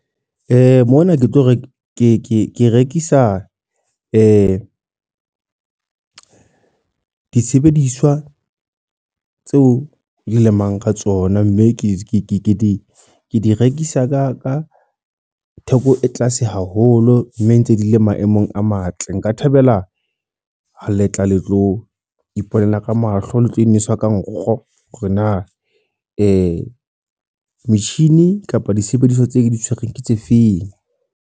Mona, ke tlo re ke rekisa di disebediswa tseo di lemang ka tsona. Mme ke di rekisa ka theko e tlase haholo. Mme ntse di le maemong a matle. Nka thabela ha letla le tlo iponela ka mahlo, le tlo inwesa ka nkgo. Hore na metjhini kapa disebediswa tse ke di tshwerweng ke tse feng.